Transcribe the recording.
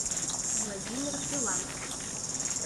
владимир филантов